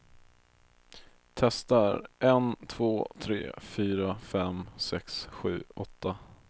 Testar en två tre fyra fem sex sju åtta.